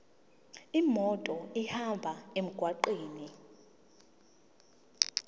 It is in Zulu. imoto ihambe emgwaqweni